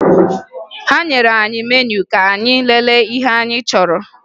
Ha nyere anyị meniu ka anyị lelee ihe anyị chọrọ